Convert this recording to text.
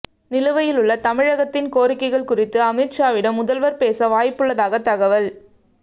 நிலுவையிலுள்ள தமிழகத்தின் கோரிக்கைகள் குறித்து அமித் ஷாவிடம் முதல்வர் பேச வாய்ப்புள்ளதாக தகவல்